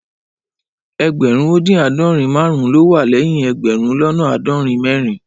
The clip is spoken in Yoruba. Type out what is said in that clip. Ẹẹgbẹrun odin aadọrin marun lo wà lẹyìn ẹẹgbẹrun lọnà aadorin mẹrin